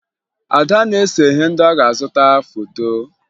Ada na-ese ihe ndị ọ na-azụta foto